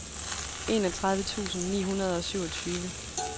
enogtredive tusind ni hundrede og syvogtyve